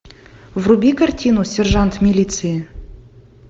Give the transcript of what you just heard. вруби картину сержант милиции